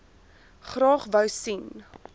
graag wou sien